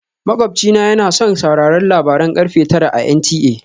Makwabci na yana son sauraron labaran karfe tara a NTA